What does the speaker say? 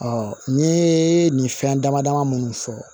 n ye nin fɛn dama dama munnu fɔ